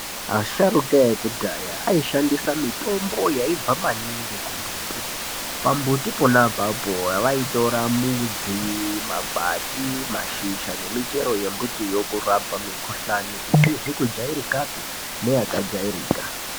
Asharuka ekudhaya ayishandisa mitombo yayibva maningi kumbuti. Pambuti pona apapo, wavayitora mudzi, mapwati, mazhizha nemichero yembuti yokurapa mikhuhlani isizikujairikape neyakajayirika.